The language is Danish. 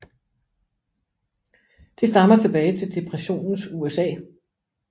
Det stammer tilbage til depressionens USA